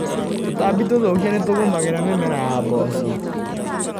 Tũtambi tũthũkia nĩtũgũmagĩra mĩmera ya mboco.